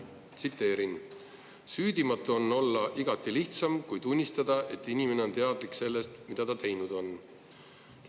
Tsiteerin: "Süüdimatu on olla igati lihtsam, kui tunnistada, et inimene on teadlik sellest, mida ta teinud on.